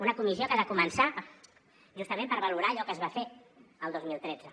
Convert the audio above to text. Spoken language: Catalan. una comissió que ha de començar justament per valorar allò que es va fer el dos mil tretze